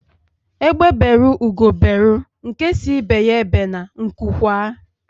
Egbe beru Ugo beru nke si ibe ya ebene nku kwaa